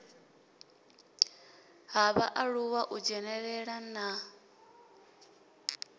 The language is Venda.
ha vhaaluwa u dzhenelela na